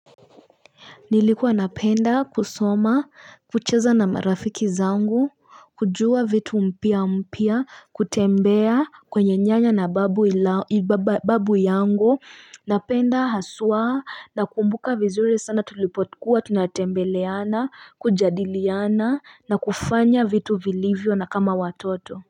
Nilikuwa napenda kusoma, kucheza na marafiki zangu, kujua vitu mpya mpya, kutembea kwenye nyanya na babu babu yangu, napenda haswaa nakumbuka vizuri sana tulipokuwa, tunatembeleana, kujadiliana na kufanya vitu vilivyo na kama watoto.